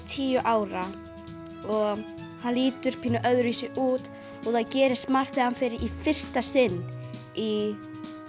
tíu ára og hann lítur pínu öðruvísi út og það gerist margt þegar hann fer í fyrsta sinn í